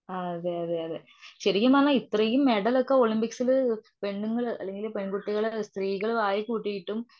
അതെയതെ ശരിക്കും പറഞ്ഞാൽ ഇത്രേം മെഡലൊക്കെ ഒളിമ്പിക്സില് പെണ്ണുങ്ങള് അല്ലങ്കില് പെൺകുട്ടികള്, സ്ത്രീകള് വാരി കുട്ടിയിട്ടും.